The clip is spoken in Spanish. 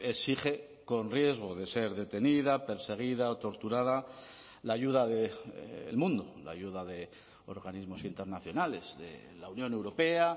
exige con riesgo de ser detenida perseguida o torturada la ayuda del mundo la ayuda de organismos internacionales de la unión europea